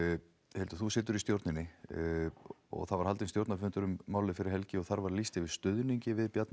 Hildur þú situr í stjórninni það var haldinn stjórnarfundur um málið fyrir helgi og þar var lýst yfir stuðningi við Bjarna